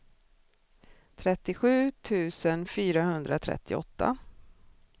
trettiosju tusen fyrahundratrettioåtta